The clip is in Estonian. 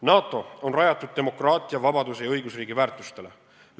NATO on rajatud demokraatia, vabaduse ja õigusriigi väärtustele.